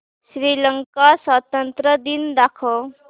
श्रीलंका स्वातंत्र्य दिन दाखव